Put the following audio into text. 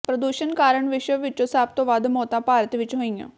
ਪ੍ਰਦੂਸ਼ਣ ਕਾਰਨ ਵਿਸ਼ਵ ਵਿੱਚੋਂ ਸਭ ਤੋਂ ਵੱਧ ਮੌਤਾਂ ਭਾਰਤ ਵਿੱਚ ਹੋਈਆਂ